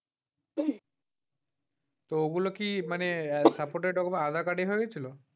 তো ওগুলো কি মানে suported আধার-কার্ড এ হয়ে গেছিল?